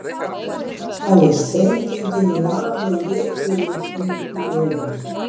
Hafði sprengingin lamið vikurinn inn í viðinn.